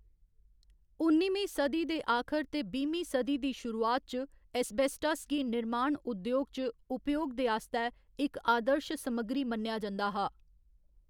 उन्निमीं सदी दे आखर ते बाह्‌मीं सदी दी शुरुआत च, एस्बेस्टास गी निर्माण उद्‌योग च उपयोग दे आस्तै इक आदर्श समग्गरी मन्नेआ जंदा हा।